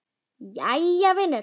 Jæja vinur.